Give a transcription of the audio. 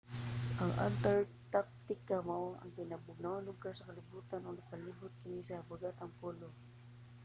ang antarctica mao ang kinabugnawang lugar sa kalibotan ug nagpalibot kini sa habagatang polo